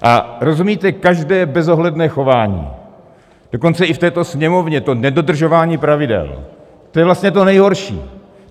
A rozumíte, každé bezohledné chování, dokonce i v této Sněmovně, to nedodržování pravidel, to je vlastně to nejhorší.